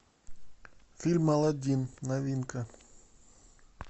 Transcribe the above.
фильм аладдин новинка